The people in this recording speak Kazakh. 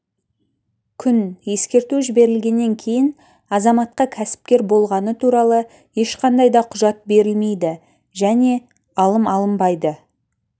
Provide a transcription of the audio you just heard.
күн ескерту жіберілгеннен кейін азаматқа кәсіпкер болғаны туралы ешқандай да құжат берілмейді және алым алынбайды